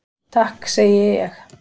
Takk segi ég.